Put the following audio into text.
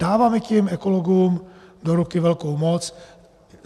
Dáváme tím ekologům do ruku velkou moc.